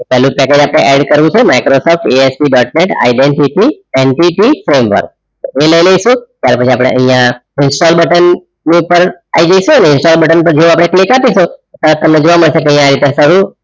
પેહલુ update add કર્યું છે Microsoft ASP dot net identity frame work એ લઈ લાઈસુ તારે પછી અપડે અહીંયા instal બટન ની ઉપપર આય જયસુ ઇન્સ્ટોલ બટન પર જેવુ click અપિસું ત્યરેહ તમને જોવા મડસે